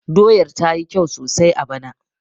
Doyar ta yi kyau sosai a bana